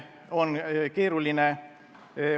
Palun!